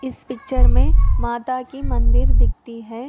इस पिक्चर मे माता की मंदिर दिखती है।